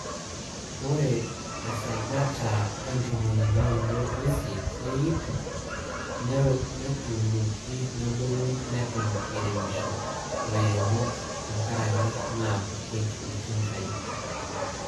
Ore esajata e ntomoni naudo o isiet te iip, netuunoki nebulu neton eiremisho lairemok tenkaraki naa kutik iltinkai.